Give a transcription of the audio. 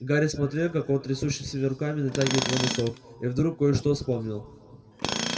гарри смотрел как он трясущимися руками натягивает его носок и вдруг кое-что вспомнил